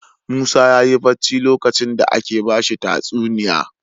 Musa yayi bacci lokacin da ake bashi tatsuniya